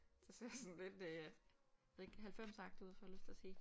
Det ser sådan lidt øh jeg ved ikke 90'er agtigt ud får jeg lyst til at sige